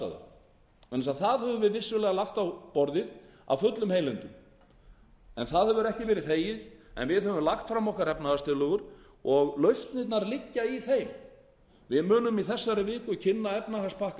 þannig að það höfum við vissulega lagt á borðið af fullum heilindum en það hefur ekki verið þegið en við höfum lagt fram okkar efnahagstillögur og lausnirnar liggja í þeim við munum í þessari viku kynna efnahagspakka